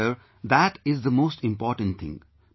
Yes sir that is the most important thing